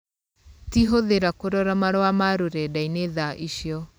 Ti hũthira kũrora marũa ma rũrendainĩ tha icio.